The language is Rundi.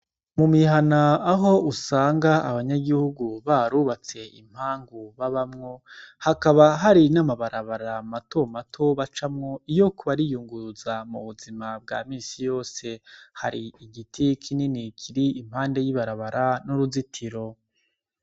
Mumihana aho usanga abanyagihugu barubatse impangu babamwo hakaba hari n'amabarabara mato mato bacamwo iyo bariko bariyunguruza mubuzima bwa misi yose, hari igiti kinini kiri impande y'ibarabara n'uruzitiro.